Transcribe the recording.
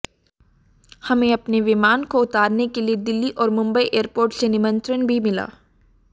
हमें अपने विमान को उतारने के लिए दिल्ली और मुंबई एयरपोर्ट से निमंत्रण भी मिला